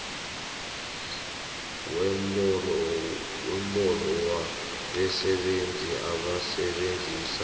wembalo yabasebenzi abasebenzisa